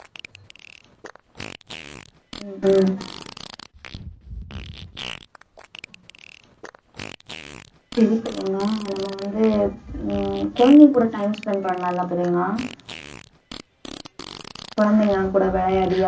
உம் உம் சரி பிரியங்கா நம்ம வந்து உம் குழந்தைங்ககூட time spend பண்ணலாம் இல்லை பிரியங்கா குழந்தைங்க கூட விளையாடி